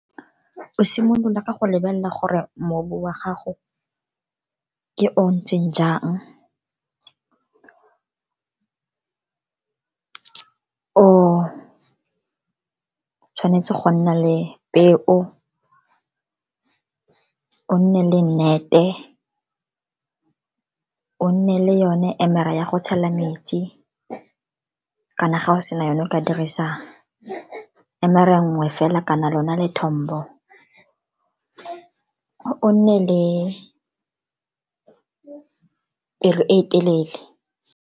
O simolola ka go lebelela gore mobu wa gago ke o ntseng jang, o tshwanetse go nna le peo, o nne le net-e, o nne le yone emere ya go tshela metsi kana ga o sena yone o ka dirisa emere nngwe fela kana lona lethombo, o nne le pelo e telele.